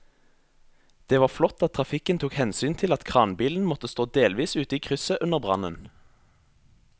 Det var flott at trafikken tok hensyn til at kranbilen måtte stå delvis ute i krysset under brannen.